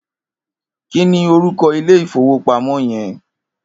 Kini órúkò ilé ifówópámò yèn?